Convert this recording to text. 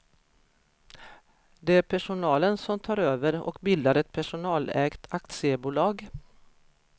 Det är personalen som tar över och bildar ett personalägt aktiebolag.